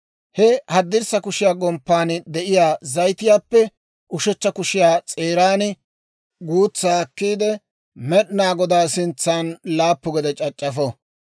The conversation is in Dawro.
He haddirssa kushiyaa gomppan de'iyaa zayitiyaappe ushechcha kushiyaa s'eeran guutsaa akkiide, Med'inaa Godaa sintsan laappu gede c'ac'c'afo.